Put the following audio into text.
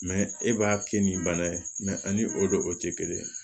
e b'a kɛ nin bana ye ani o don o tɛ kelen ye